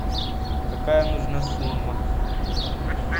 какая нужна сумма